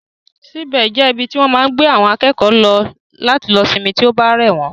Sick bay jẹ́ ibi tí wọ́n máa ń gbé àwọn akẹ́kọ̀ọ́ lọ láti lọ sinmi tí ó bá rẹ̀ wọ́n